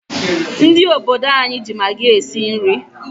Ndị obodo anyị ji magi esi nri.